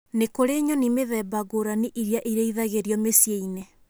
Nĩ kũrĩ nyoni mĩthemba ngũrani iria irĩithagio mĩciĩ-inĩ